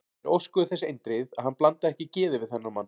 Þeir óskuðu þess eindregið, að hann blandaði ekki geði við þennan mann.